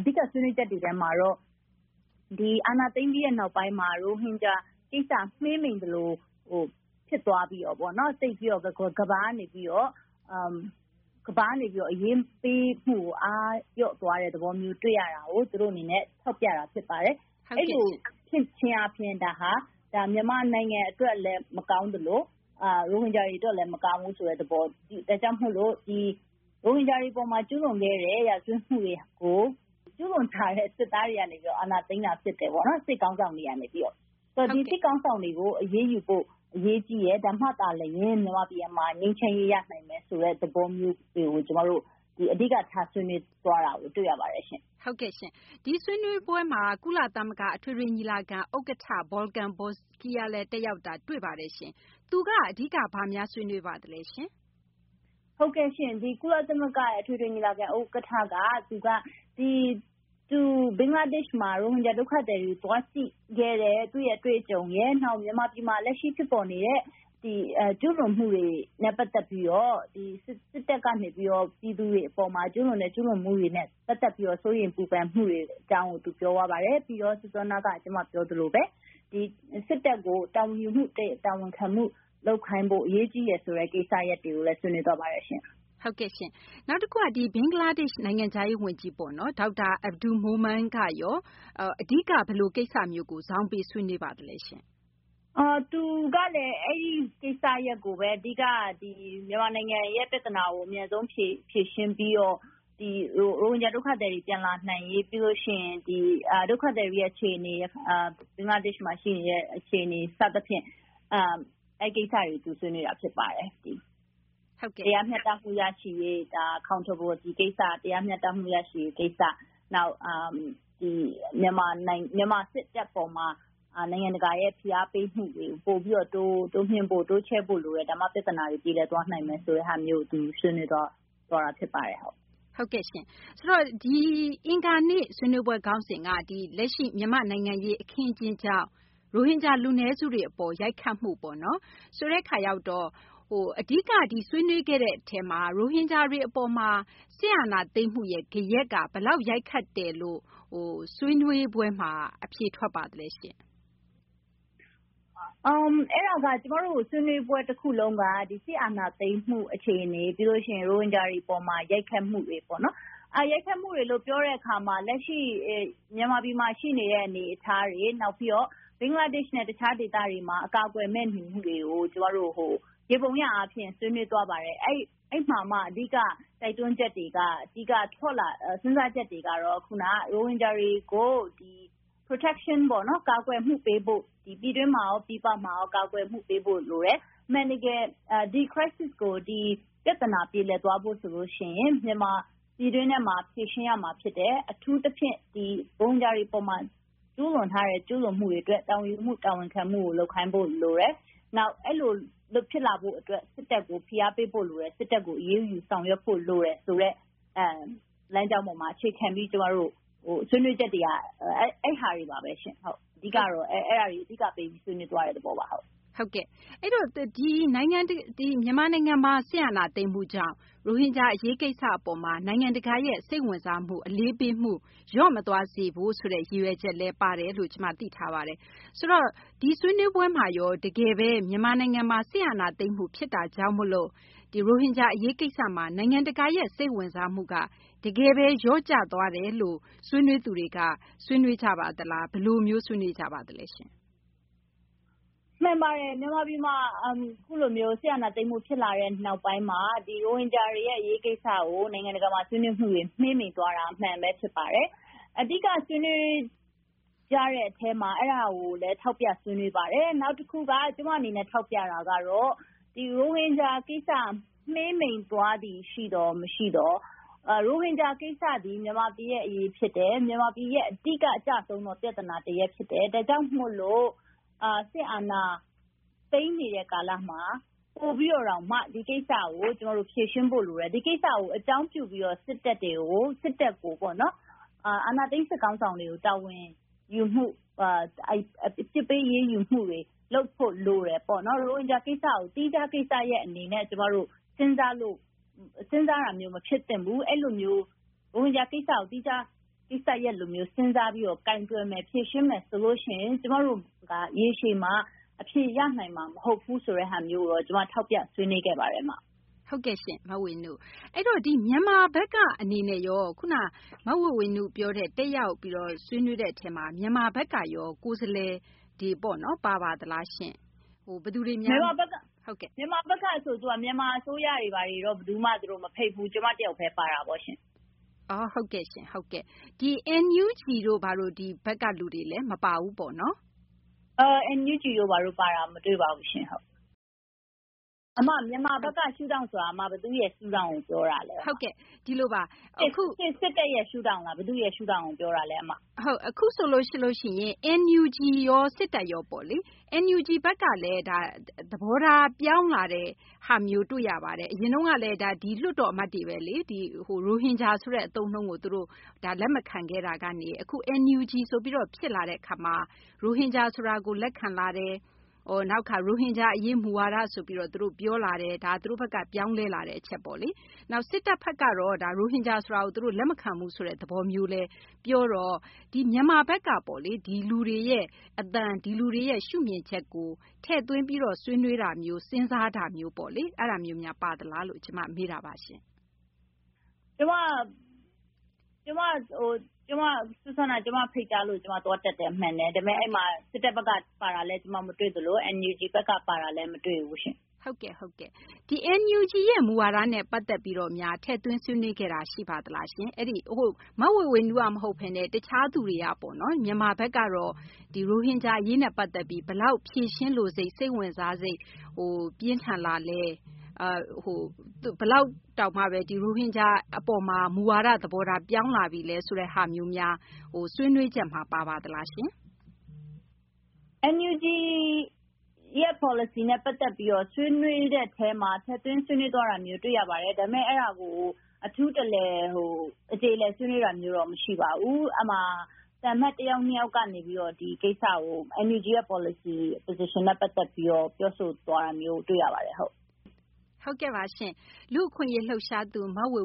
အဓိကဆွေးနွေးချက်တွေထဲမှာတော့ အာဏာသိမ်းပြီးနောက်ပိုင်း ရိုဟင်ဂျာကိစ္စ မှေးမှိန်သလိုဖြစ်သွားပြီးတော့ ကမ္ဘာကနေပြီးတော့ အရေးပေးမှု အားလျော့သွားတဲ့သဘောမျိုး တွေ့ရတာကို သူတို့အနေနဲ့ ထောက်ပြတာဖြစ်ပါတယ်။ အဲဒီလိုဖြစ်ခြင်းအားဖြင့်ဒါက မြန်မာနိုင်ငံအတွက်လည်းမကောင်းသလို ရိုဟင်ဂျာတွေအတွက်လည်းမကောင်းဘူး ဒါကြောင့်မို့လို့ ရိုဟင်ဂျာတွေအပေါ်မှာ ကျူးလွန်ခဲ့တဲ့ ရာဇဝတ်မှုတွေကို ကျူးလွန်ထားတဲ့ စစ်သားတွေကနေပြီးတော့ အာဏာသိမ်းတာဖြစ်တယ်ပေါ့နော် ။ ဒီစစ်ခေါင်းဆောင်တွေကို အရေးယူဖို့ အရေးကြီးတယ် ဒါမှသာလျင် မြန်မာပြည်မှာ ငြိမ်းချမ်းရေးရနိုင်မယ်ဆိုတဲ့သဘောမျိုး ကျမတို့ အဓိကထားဆွေးနွေးသွားတာကို တွေ့ရပါတယ်ရှင့်။ ဟုတ်ကဲ့ရှင့် ဆွေးနွေးပွဲမှာ ကုလသမဂ္ဂအထွေထွေညီလာခံ ဥက္ကဋ္ဌ Volkan Bozkır လည်းတက်ရောက်တာ တွေ့ရပါတယ်ရှင့်။ သူက အဓိက ဘာများဆွေးနွေးပါသလဲရှင့်။ ဟုတ်ကဲ့ရှင့် ကုလသမဂ္ဂအထွေထွေညီလာခံ ဥက္ကဋ္ဌ က သူက ဘင်္ဂလားဒေ့ရှ်မှာ ရိုဟင်ဂျာဒုက္ခသည်တွေ သွားကြည့်ခဲ့တဲ့ သူ့အတွေ့အကြုံရယ် ၊ နောက်မြန်မာပြည်မှာ လက်ရှိဖြစ်ပေါ်နေတဲ့ ကျူးလွန်မှုတွေနဲ့ ပတ်သက်ပြီးတော့ စစ်တပ်ကနေပြီးတော့ ပြည်သူတွေအပေါ်မှာ ကျူးလွန်တဲ့ ကျူးလွန်မှုတွေနဲ့ ပတ်သက်ပြီးတော့ စိုးရိမ်ပူပန်မှုအကြောင်းကို သူပြောသွားပါတယ်။ ပြီးတော့ စောနက ကျမပြောသလိုပါပဲ စစ်တပ်ကို တာဝန်ယူမှု တာဝန်ခံမှု လုပ်ခိုင်းဖို့ အရေးကြီးတယ်ဆိုတဲ့ ကိစ္စရပ်တွေကိုလည်း ဆွေးနွေးသွားပါတယ်ရှင့်။ ဟုတ်ကဲ့ရှင့် နောက်တခုက ဘင်္ဂလားဒေ့ရှ်နိုင်ငံခြားရေးဝန်ကြီး Dr. Abdul Momen ကရော အဓိက ဘယ်လိုကိစ္စမျိုးကို ဇောင်းပေးဆွေးနွေးပါသလဲ။ သူကလည်း အဲဒီကိစ္စရပ်ကိုပဲ အဓိက မြန်မာနိုင်ငံ ရဲ့ ပြဿနာကို အမြန်ဆုံးဖြေရှင်းပြီးတော့ ရိုဟင်ဂျာဒုက္ခသည်တွေ ပြန်လာနိုင်ရေး၊ ပြီးရင် ဒီ ဒုက္ခသည်တွေအခြေအနေ ဘင်္ဂလားဒေ့ရှ်မှာရှိနေတဲ့ အခြေအနေ စသဖြင့် အဲဒီကိစ္စတွေကို ဆွေးနွေးတာဖြစ်ပါတယ်။ တရားမျှတမှုရရှိရေး Accountability ကိစ္စ ၊ နောက်မြန်မာစစ်တပ်အပေါ်မှာ နိုင်ငံတကာရဲ့ ဖိအားပေးမှုတွေကို ပိုပြီးတော့ တိုးမြှင့်ဖို့ တိုးချဲ့ဖို့လိုတယ် ဒါမှ ပြဿနာတွေ ပြေလည်သွားနိုင်တယ် ဒါမျိုးကို သူဆွေးနွေးသွားတာဖြစ်ပါတယ်။ ဟုတ်ကဲ့ရှင့် ဆိုတော့ အင်္ဂါနေ့ ဆွေးနွေးပွဲ ခေါင်းစဉ်က ဒီ လက်ရှိ မြန်မာနိုင်ငံရေး အခင်းအကျင်းကြောင့် ရိုဟင်ဂျာ လူနည်းစုတွေကို ရိုက်ခတ်မှုပေါ့နော် ဆိုတဲ့အခါရောက်တော့ အဓိက ဒီဆွေးနွေးခဲ့တဲ့အထဲမှာ ရိုဟင်ဂျာတွေအပေါ်မှာ စစ်အာဏာသိမ်းမှု ဂယက်က ဘယ်လောက်အထိ ရိုက်ခတ်တယ်လို့ ဆွေးနွေးပွဲမှာ အဖြေထွက်ပါသလဲရှင့်။ အဲဒါက ကျမတို့ ဆွေးနွေးပွဲ တခုလုံးက စစ်အာဏာသိမ်းမှုအခြေအနေ ပြီးရင် ရိုဟင်ဂျာတွေအပေါ်မှာ ရိုက်ခတ်မှုတွေပေ့ါနော်၊ ရိုက်ခတ်မှုတွေလို့ ပြောတဲ့အခါမှာ လက်ရှိ မြန်မာပြည်မှာ ရှိနေတဲ့ အနေအထားတွေ နောက်ပြီးတော့ ဘင်္ဂလားဒေ့ရှ်နဲ့ တခြားဒေသတွေမှာ အကာအကယ်မဲ့နေမှုတွေကို ယေဘုယျအားဖြင့် ဆွေးနွေးသွားပါတယ်။ အဲဒီမှာမှ အဓိက တိုက်တွန်းချက်တွေ အဓိက စဉ်းစားချက်တွေကတော့ ရိုဟင်ဂျာတွေကို ကာကွယ်မှုပေးဖို့ ပြည်တွင်းမှာရော ပြည်ပမှာရော ကာကွယ်မှုပေးဖို့လိုတယ် အမှန်တကယ် ဒီ Crisis ပြဿနာ ကို ပြေလည်သွားဖို့ဆိုရင် ပြည်တွင်းထဲမှာ ဖြေရှင်းရမှာဖြစ်တယ်။ အထူးသဖြင့် ရိုဟင်ဂျာတွေအပေါ်မှာ ကျူးလွန်ထားတဲ့ ကျူးလွန်မှုတွေအတွက် တာဝန်ခံမှု တာဝန်ယူမှုကို လုပ်ခိုင်းဖို့ လိုတယ်။ နောက်အဲလိုဖြစ်လာဖို့အတွက် စစ်တပ်ကို ဖိအားပေးဖို့လိုတယ် စစ်တပ်ကို အရေးယူဆောင်ရွက်ဖို့ လိုတယ်ဆိုတဲ့ လမ်းကျောင်းပေါ်မှာ အခြေခံပြီး ကျမတို့ ဆွေးနွေးချက်တွေက အဲဒါတွေပါပဲရှင့်။ အဓိကတော့ အဲဒါတွေ ဆွေးနွေးသွားတဲ့သဘောပါ။ ဟုတ်ကဲ့ အဲဒီတော့ မြန်မာနိုင်ငံမှာ စစ်အာဏာသိမ်းမှုကြောင့် ရိုဟင်ဂျာ အရေးကိစ္စပေါ်မှာ နိုင်ငံတကာရဲ့ စိတ်ဝင်စားမှု အလေးပေးမှု လျော့မသွားစေဖို့ ဆိုတဲ့ ရည်ရွယ်ချက်လည်းပါတယ်လို့ ကျမသိထားပါတယ်။ ဆိုတော့ ဒီဆွေးနွေးပွဲမှာရော တကယ်ပဲ မြန်မာနိုင်ငံမှာ စစ်အာဏာသိမ်းမှုဖြစ်တာကြောင့် ရိုဟင်ဂျာ အရေးကိစ္စမှာ နိုင်ငံတကာရဲ့ စိတ်ဝင်စားမှုက တကယ်ပဲ လျော့ကျသွားတယ်လို့ ဆွေးနွေးသူတွေက ဆွေးနွေးကြပါသလား ဘယ်လိုမျိုး ဆွေးနွေးကြပါသလဲ။ မှန်ပါတယ် မြန်မာပြည်မှာ အခုလိုမျိုး စစ်အာဏာသိမ်းမှုဖြစ်လာတဲ့နောက်ပိုင်းမှာ ရိုဟင်ဂျာ အရေးကိစ္စကို နိုင်ငံတကာမှာ ဆွေးနွေးမှုတွေ မှေးမှိန်သွားတာ အမှန်ပဲ ဖြစ်ပါတယ်။ အဓိကဆွေးနွေးကြတဲ့အထဲမှာ အဲဒါကိုလည်း ထောက်ပြဆွေးနွေးပါတယ်။ နောက်တခုက ကျမအနေနဲ့ ထောက်ပြတာကတော့ ရိုဟင်ဂျာ ကိစ္စ မှေးမှိန်သွားသည်ရှိသော် မရှိသော်၊ ရိုဟင်ဂျာ ကိစ္စသည် မြန်မာပြည်ရဲ့ အရေးဖြစ်တယ်။ မြန်မာပြည်ရဲ့ အဓိကအကျဆုံးသော ပြဿနာတရပ်ဖြစ်တယ်။ ဒါကြောင့် စစ်အာဏာသိမ်းနေတဲ့ ကာလမှာ ပိုပြီးတော့တောင်မှ ဒီကိစ္စကို ကျမတို့ ဖြေရှင်းဖို့လိုတယ်။ ဒီကိစ္စကို အကြောင်းပြုပြီးတော့ စစ်တပ်ကို အာဏာသိမ်းစစ်ခေါင်းဆောင်ကို တာဝန်ယူမှု အပြစ်ပေးအရေးယူမှုတွေ လုပ်ဖို့ လိုတယ်ပေါ့နော်။ ရိုဟင်ဂျာ ကိစ္စရပ်ကို သီးခြားကိစ္စရပ်အနေနဲ့ ကျမတို့ စဉ်းစားတာမျိုး မဖြစ်သင့်ဘူး။ ရိုဟင်ဂျာ ကိစ္စရပ်ကို သီးခြားကိစ္စရပ်လိုမျိုး စဉ်းစားပြီးတော့ ကိုင်တွယ်မယ် ဖြေရှင်းမယ်ဆိုရင် ကျမတို့က ရေရှည်မှာ အဖြေရနိုင်မှာမဟုတ်ဘူးဆိုတာကိုတော့ ကျမ ထောက်ပြဆွေးနွေးခဲ့ပါတယ်။ ဟုတ်ကဲ့ရှင့် မဝေေ၀နု။ အဲဒီတော့ မြန်မာဘက်ကအနေနဲ့ရော ခုနက မဝေေ၀နုပြောတဲ့ တက်ရောက်ပြီးတော့ ဆွေးနွေးတဲ့အထဲမှာ မြန်မာဘက်ကရော ကိုယ်စားလှယ်တွေ ပါပါသလားရှင့်။ မြန်မာဘက်ကဆိုတော့ သူတို့ အစိုးရတွေကိုတော့ မဖိတ်ဘူးရှင့်။ ကျမတယောက်ပဲ ပါတာပေါ့ရှင့်။ ဟုတ်ကဲ့ရှင့် NUG တို့ ဘက်ကလူတွေလည်း မပါဘူးပေ့ါနော်။ NUG တို့ ပါတာမတွေ့ပါဘူးရှင့်။ အမ မြန်မာဘက်က ရှု့ထောင့်ဆိုတာ ဘယ်သူ့ရှု့ထောင်ကို ပြောတာလဲ အမ ၊ စစ်တပ်ရဲ့ ရှု့ထောင့်လား ၊ ဘယ်သူ့ရှုထောင့်ကို ပြောတာလဲအမ ။ အခုဆိုရင် NUG ရော စစ်တပ်ရောပေါ့နော် NUG ဘက်ကလည်း သဘောထားပြောင်းလာတဲ့ ဟာမျိုးတွေ့ရပါတယ် အရင်တုန်းကလည်း ဒါက လွှတ်တော်အမတ်တွေပဲလေ ၊ ရိုဟင်ဂျာဆိုတဲ့ အသုံးအနှုန်းကို လက်မခံခဲ့တာကနေ အခု NUG ဆိုပြီးတော့ ဖြစ်လာတာကနေ ရိုဟင်ဂျာ ဆိုတာကို လက်ခံလာတယ်၊ နောက်တခါ ရိုဟင်ဂျာအရေး မူဝါဒဆိုပြီးတော့ သူတို့ ပြောလာတယ်၊ ဒါသူတို့ဘက်က ပြောင်းလဲလာတဲ့ အချက်ပေါ့လေ ။ နောက် စစ်တပ်ဘက်ကတော့ ရိုဟင်ဂျာ ဆိုတာကို လက်မခံဘူးဆိုတဲ့သဘောမျိုးလည်းပြောတော့ မြန်မာဘက်ကပေါ့လေ ဒီလူတွေရဲ့ အသံ ဒီလူတွေရဲ့ ရှုမြင်ချက်ကို ထည့်သွင်းပြီးတော့ ဆွေးနွေးတာမျိုး စဉ်းစားတာမျိုးပေါ့လေ အဲဒါမျိုးများ ပါသလားလို့ ကျမ မေးတာပါရှင့်။ ကျမကို ဖိတ်ကြားလို့ ကျမသွားတက်တာမှန်တယ်၊ အဲဒီမှာ စစ်တပ်ဘက်ကလည်း ပါတာ ကျမ မတွေ့သလို NUG ဘက်က ပါတာလည်း မတွေ့ဘူးရှင့်။ ဒီ NUG မူဝါဒနဲ့ ပတ်သက်ပြီးတော့ ထည့်သွင်းဆွေးနွေးခဲ့တာ ရှိပါသလားရှင့်။ မဝေေ၀နု မဟုတ်ပဲနဲ့ တခြားသူတွေကပေါ့နော် မြန်မာဘက်ကတော့ ရိုဟင်ဂျာအရေးနဲ့ ပတ်သက်ပြီး ဘယ်လောက် ဖြေရှင်းလိုစိတ်၊ စိတ်ဝင်စားစိတ် ပြင်းထန်သလဲ ဘယ်လောက်တောင်မှ ရိုဟင်ဂျာအပေါ်မှာ မူဝါဒ သဘောထားပြောင်းလာပြီလဲ ဆိုတာမျိုးများ ဆွေးနွေးချက်မှာ ပါပါသလားရှင့်။ NUG ရဲ့ ပေါ်လစီနဲ့ ပတ်သက်ပြီးတော့ ဆွေးနွေးတဲ့အထဲမှာ ထည့်သွင်းဆွေးနွေးသွားတာ တွေ့ရပါတယ်။ ဒါပေမယ့် အဲဒါကို အထူးတလည် အကျေအလည်ဆွေးနွေးတာမျိုး မရှိပါဘူး။ အဲဒီမှာ သံအမတ် တယောက်၊ ၂ ယောက်ကနေပြီးတော့ NUG ပေါ်လစီနဲ့ ပတ်သက်ပြီးတော့ ပြောဆိုသွားတာတွေ့ရပါတယ်။ လူ့အခွင့်အရေး လှုပ်ရှားသူ မဝေ